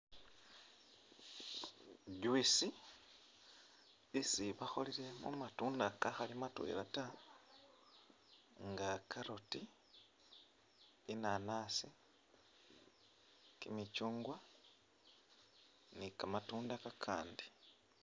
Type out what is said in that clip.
Juice isi bakholile mumatunda kakhali matwela ta nga carrot, inanasi, kimicyungwa ni kamatunda kakandi